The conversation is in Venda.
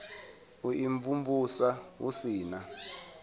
u imvumvusa hu si na